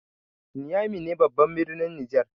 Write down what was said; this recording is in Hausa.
Niamey ne babban birnin Nijar.